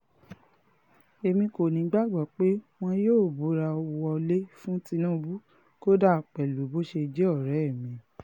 èmi kò nígbàgbọ́ pé wọn yóò búra wọlé fún tinubu kódà pẹ̀lú bó ṣe jẹ́ ọ̀rẹ́ mi